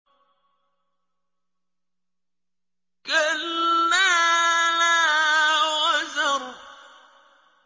كَلَّا لَا وَزَرَ